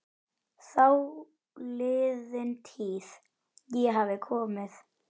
Þáliðin tíð- ég hafði komið